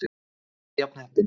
ALLTAF JAFN HEPPINN!